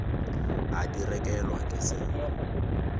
a di rekelwa ke sello